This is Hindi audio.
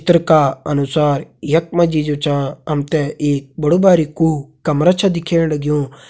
चित्र का अनुसार यख मा जी जु छा हम ते एक बड़ु बारिकु कमरा कर छा दिखेण लग्युं।